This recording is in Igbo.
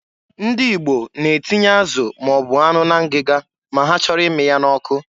Ndị Igbo na-etinye azụ ma ọ bụ anụ na ngịga ma ha chọrọ ịmị ya n'ọkụ.